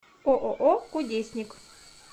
ооо кудесник